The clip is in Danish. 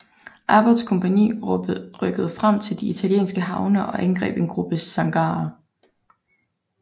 Abbots kompagni rykkede frem til de italienske havne og angreb en gruppe sangarer